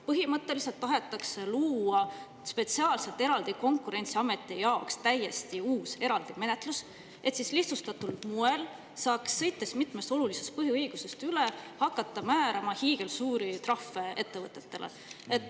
Põhimõtteliselt tahetakse luua spetsiaalselt Konkurentsiameti jaoks täiesti uus, eraldi menetlus, et siis lihtsustatud moel saaks sõita mitmest olulisest põhiõigusest üle ja hakata ettevõtetele määrama hiigelsuuri trahve.